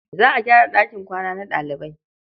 Za a gyara ɗakin kwana na ɗalibai.